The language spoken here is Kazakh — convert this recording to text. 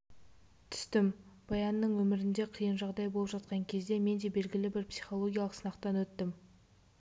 түстім баянның өмірінде қиын жағдай болып жатқан кезде мен де белгілі бір психологиялық сынақтан өттім